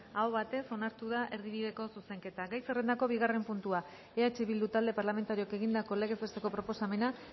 aho batez onartu da erdibideko zuzenketa gai zerrendako bigarren puntua eh bildu talde parlamentarioak egindako legez besteko proposamena